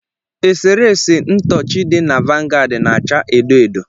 Eserese ntọọchị dị na vanguard na-acha edo edo